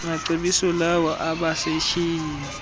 macebiso lawo abasetyhini